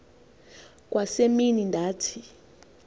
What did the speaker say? kwa semini ndathi